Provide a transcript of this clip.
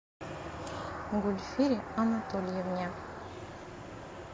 гульфире анатольевне